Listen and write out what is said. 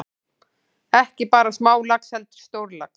Ekki bara smálax heldur stórlax.